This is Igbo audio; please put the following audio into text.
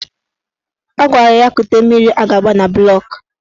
Ọ gwara ya kute mmiri a ga-agba na bụlọk